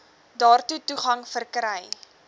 daartoe toegang verkry